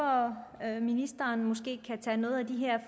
ministeren måske kan tage nogle af de her